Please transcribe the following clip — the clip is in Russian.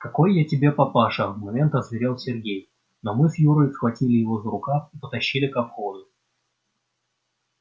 какой я тебе папаша в момент озверел сергей но мы с юрой схватили его за рукав и потащили ко входу